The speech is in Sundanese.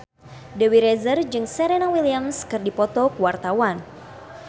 Dewi Rezer jeung Serena Williams keur dipoto ku wartawan